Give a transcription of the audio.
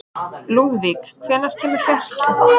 Lúðvík, hvenær kemur fjarkinn?